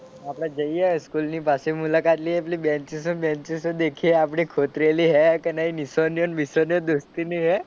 આપણે જઈએ સ્કૂલ ની પાછી મુલાકાત લઈએ પેલી બેનચીસો ને બેનચીસો દેખીએ આપણી ખોતરેલી હે કે નહીં નિશાનીઓ બીશાનીઓ દોસ્તી ની હે.